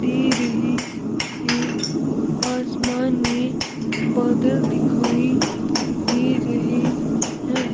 दे रही है आसमान में बादल दिखाई दे रहे हैं।